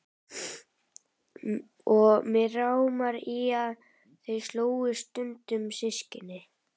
Og mig rámar í að þau slógust stundum systkinin.